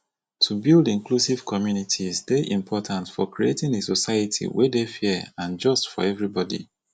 to build inclusive communities dey important for creating a society wey dey fair and just for everybody